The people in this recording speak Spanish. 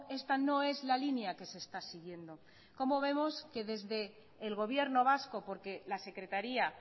esta no es la línea que se está siguiendo cómo vemos que desde el gobierno vasco porque la secretaría